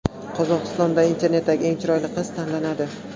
Qozog‘istonda internetdagi eng chiroyli qiz tanlanadi .